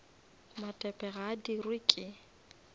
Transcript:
matepe ga a dirwe ke